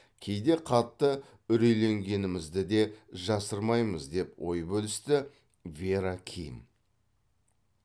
кейде қатты үрейленгенімізді де жасырмаймыз деп ой бөлісті вера ким